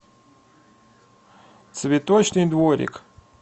цветочный дворик